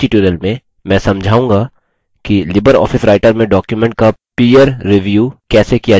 इस ट्यूटोरियल में मैं समझाऊँगा कि लिबरऑफिस राइटर में डॉक्युमेंट का पीयर रिव्यू सहकर्मी समीक्षा कैसे किया जा सकता है